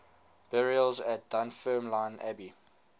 burials at dunfermline abbey